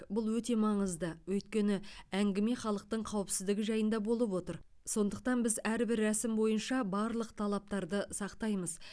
бұл өте маңызды өйткені әңгіме халықтың қауіпсіздігі жайында болып отыр сондықтан біз әрбір рәсім бойынша барлық талаптарды сақтаймыз